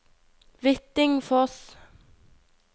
Hvittingfoss